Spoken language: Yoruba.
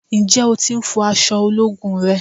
Ǹjẹ́ o tí ń fọ àsọ ológun rẹ?